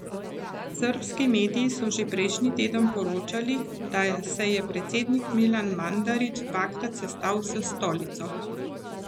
Srbski mediji so že prejšnji teden poročali, da se je predsednik Milan Mandarić dvakrat sestal s Stolico.